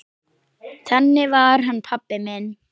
Þannig var hann pabbi minn.